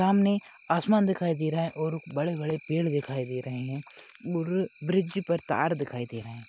सामने आसमान दिखाई दे रहा है और बडे बडे पेड दिखाई दे रहे है मूर-र ब्रिज पर तार दिखाई दे रहे है।